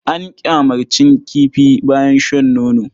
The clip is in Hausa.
An ƙyamarcin kifi bayan shan nono.